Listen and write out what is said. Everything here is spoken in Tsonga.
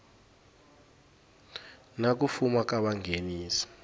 na ku fuma ka vanghenisi